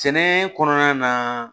Sɛnɛ kɔnɔna na